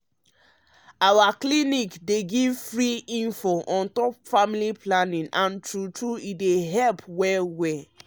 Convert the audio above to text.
our clinic um dey give free informate on top family planning and true true um e dey help well well. um